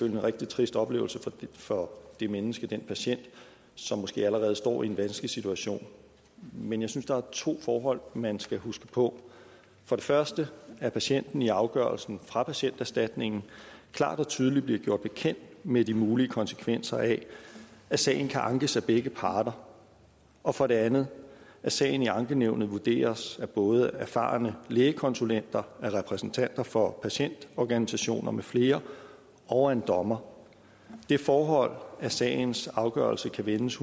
en rigtig trist oplevelse for det menneske den patient som måske allerede står i en vanskelig situation men jeg synes der er to forhold man skal huske på for det første at patienten i afgørelsen fra patienterstatningen klart og tydeligt bliver gjort bekendt med de mulige konsekvenser af at sagen kan ankes af begge parter og for det andet at sagen i ankenævnet vurderes både af erfarne lægekonsulenter af repræsentanter for patientorganisationer med flere og af en dommer det forhold at sagens afgørelse kan vendes